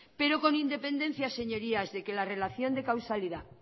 pero con independencia señorías de que la relación de causalidad